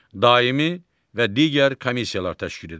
Daimi və digər komissiyalar təşkil edir.